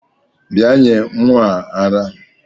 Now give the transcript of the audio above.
Bia nye nwa ara!!